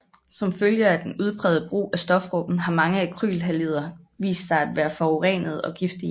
Som følge af den udprægede brug af stofgruppen har mange alkylhalider vist sig at være forurenende og giftige